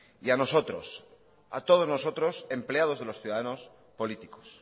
y a nosotros a todos nosotros empleados de los ciudadanos políticos